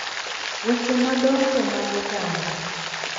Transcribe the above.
Weche madongo mag oganda